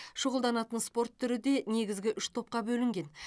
шұғылданатын спорт түрі де негізгі үш топқа бөлінген